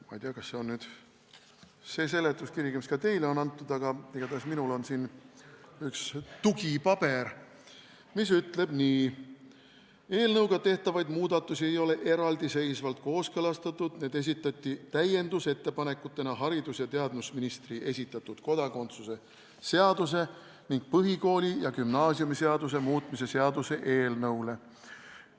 Ma ei tea, kas see on nüüd see seletuskiri, mis ka teile on antud, aga igatahes minul on siin üks tugipaber, mis ütleb nii: "Eelnõuga tehtavaid muudatusi ei ole eraldiseisvalt kooskõlastatud, need esitati täiendusettepanekutena haridus- ja teadusministri esitatud kodakondsuse seaduse ning põhikooli- ja gümnaasiumiseaduse muutmise seaduse eelnõule.